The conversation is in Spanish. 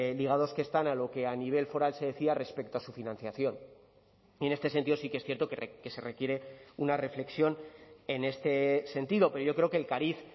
ligados que están a lo que a nivel foral se decía respecto a su financiación y en este sentido sí que es cierto que se requiere una reflexión en este sentido pero yo creo que el cariz